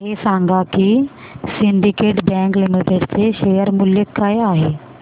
हे सांगा की सिंडीकेट बँक लिमिटेड चे शेअर मूल्य काय आहे